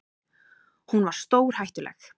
Hún var stórhættuleg.